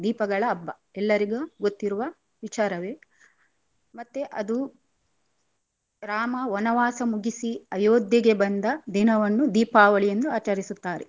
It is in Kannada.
ದೀಪಗಳ ಹಬ್ಬ ಎಲ್ಲರಿಗು ಗೊತ್ತಿರುವ ವಿಚಾರವೆ. ಮತ್ತೆ ಅದು ರಾಮ ವನವಾಸ ಮುಗಿಸಿ ಅಯೋದ್ಯೆಗೆ ಬಂದ ದಿನವನ್ನು ದೀಪಾವಳಿ ಎಂದು ಆಚರಿಸುತ್ತಾರೆ.